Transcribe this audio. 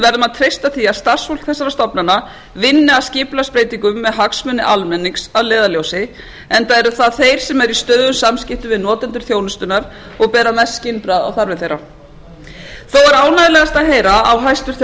verðum að treysta því að starfsfólk þessara stofnana vinni að skipulagsbreytingum með hagsmuni almennings að leiðarljósi enda eru það þeir sem eru í stöðugum samskiptum við notendur þjónustunnar og bera mest skynbragð á þarfir þeirra þó er ánægjulegast að heyra að hæstvirtur